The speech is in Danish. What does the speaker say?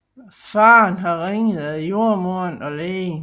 Faderen har ringet efter jordemoderen og lægen